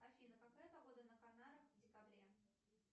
афина какая погода на канарах в декабре